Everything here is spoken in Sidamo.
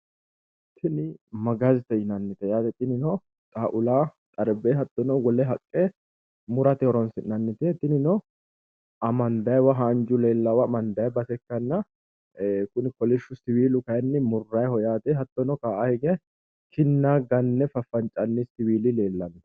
Tini gaazete yinannite yaate tinino xaaula, xarbe Hattono wole haqqe murate horonsi'nanite tinino Amandaayiiwa haaju leelaawa amandayi base ikkanna Kuni kolishu siwiilu kaayiini murrayiiho yaate hattono Ka"aa hige kinna ganne fafancaanni siviili leellanno